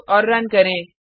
save और run करें